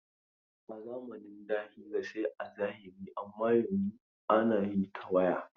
A zamanin da hira sai a zahiri amma yanzun ana yi ta waya.